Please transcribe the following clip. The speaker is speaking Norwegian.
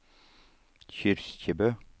Kyrkjebø